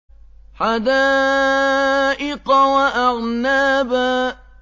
حَدَائِقَ وَأَعْنَابًا